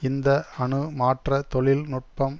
இந்த அணு மாற்ற தொழில் நுட்பம்